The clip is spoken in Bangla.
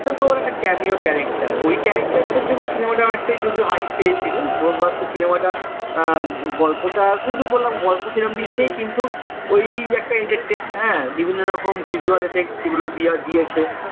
ওটা তো ওর একটা can you character ওই character এর জন্য cinema টা অ নেকটাই হাই পেয়েছিল ব্রম্ভাস্ত্র cinema টা গল্পটা ওই যে বললাম গল্প সেরকম কিছু নেই কিন্তু ওই একটা entertainment হ্যাঁ বিভিন্ন রকম visual effects সেগুলো দিয়েছে